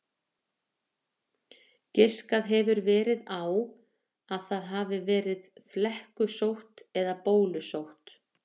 Giskað hefur verið á að það hafi verið flekkusótt eða bólusótt.